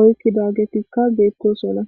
oykkidaagetikka geettosona.